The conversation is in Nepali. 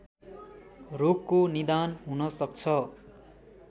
रोगको निदान हुन सक्छ